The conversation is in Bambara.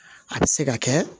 A bɛ se ka kɛ